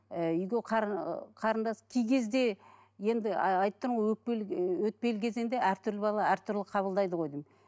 ііі үйге ыыы қарындасы кей кезде енді айтып тұрмын ғой өкпелі өтпелі кезеңде әртүрлі бала әртүрлі қабылдайды ғой деймін